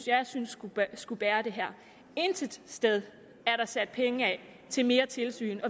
jeg synes skulle bære det her intet sted er der sat penge af til mere tilsyn